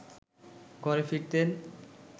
ঘরে ফিরতেন